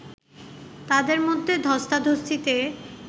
তাদের মধ্যে ধস্তাধস্তিতে